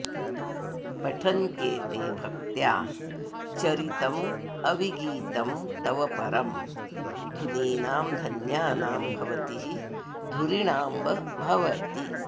पठन्त्येते भक्त्या चरितमविगीतं तव परं धुनीनां धन्यानां भवति हि धुरीणाम्ब भवती